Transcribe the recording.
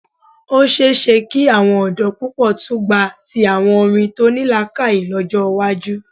Ó ṣe é ṣe kí àwọn ọ̀dọ́ púpọ̀ tún gba ti àwọn orin tó ní làákàyè lọ́jọ́ iwájú.